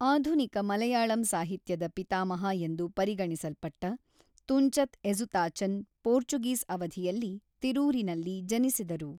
ಆಧುನಿಕ ಮಲಯಾಳಂ ಸಾಹಿತ್ಯದ ಪಿತಾಮಹ ಎಂದು ಪರಿಗಣಿಸಲ್ಪಟ್ಟ ತುಂಚತ್ ಎಝುತಾಚನ್ ಪೋರ್ಚುಗೀಸ್ ಅವಧಿಯಲ್ಲಿ ತಿರೂರಿನಲ್ಲಿ ಜನಿಸಿದರು.